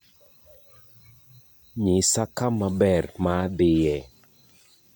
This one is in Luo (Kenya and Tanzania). nyisa kama ber ma dhie